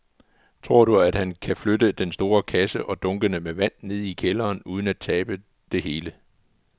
Tror du, at han kan flytte den store kasse og dunkene med vand ned i kælderen uden at tabe det hele?